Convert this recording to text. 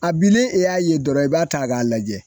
A bilen e y'a ye dɔrɔn i b'a ta k'a lajɛ.